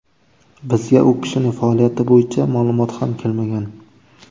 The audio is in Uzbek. Bizga u kishining faoliyati bo‘yicha ma’lumot ham kelmagan.